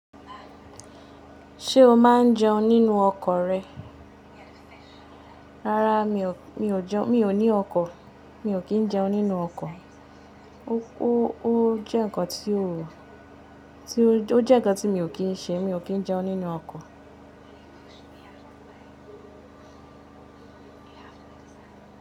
Ṣé o máa ń jẹun nínú ọkọ̀ rẹ? Rárá mi ò jẹun, mi ò ní ọkọ̀, mi ò kí ń jẹun nínú ọkọ̀. O je nnkan it. Ó jẹ́ nǹkan tí mi ò kí ń ṣe. Mi ò kí ń jẹun nínú ọkọ̀.